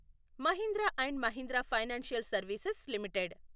Mahindra and Mahindra financial services limited